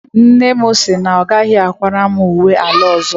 Nne m sị na ọ gaghị akwara m uwe ala ọzọ.